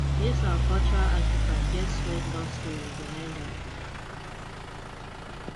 this our cultural artifact get sweat love story behind am